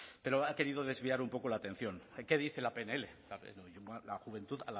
pero ha querido desviar un poco la atención aquí dice en la pnl la juventud